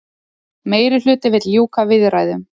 Meirihluti vill ljúka viðræðum